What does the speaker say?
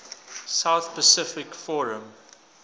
south pacific forum